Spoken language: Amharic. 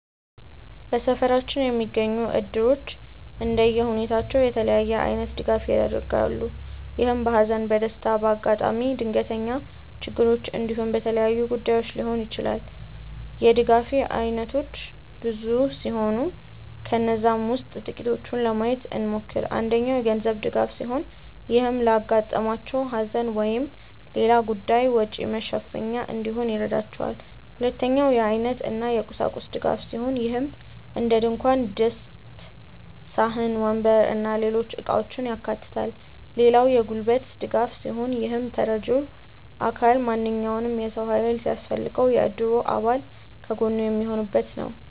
በሰፈራችን የሚገኙት እድሮች እንደየሁኔታው የተለያየ አይነት ድጋፍ ያደርጋሉ። ይህም በሃዘን፣ በደስታ፣ በአጋጣሚ ድንገተኛ ችግሮች እንዲሁም በሌሎች ጉዳዮች ሊሆን ይችላል። የድጋፍ አይነቶቹ ብዙ ሲሆኑ ከነዛም ውስጥ ጥቂቱን ለማየት እንሞክር። አንደኛው የገንዘብ ድጋፍ ሲሆን ይህም ለአጋጠማቸው ሃዘን ወይም ሌላ ጉዳይ ወጪ መሸፈኛ እንዲሆን ይረዳቸዋል። ሁለተኛው የአይነት እና የቁሳቁስ ድጋፍ ሲሆን ይህም እንደድንኳን ድስት፣ ሳህን፣ ወንበር እና ሌሎች እቃውችን ያካታል። ሌላው የጉልበት ድጋፍ ሲሆን ይህም ተረጂው አካል ማንኛውም የሰው ሃይል ሲያስፈልገው የእድሩ አባል ከጎኑ የሚሆኑበት ነው።